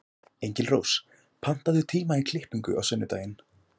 Engilrós, pantaðu tíma í klippingu á sunnudaginn.